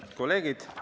Head kolleegid!